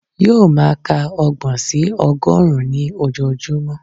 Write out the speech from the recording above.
Yóò máa ka ọgbọ̀n sí ọgọ́rùn-ún ní ojoojúmọ́